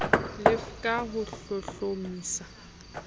le f ka ho hlohlomisa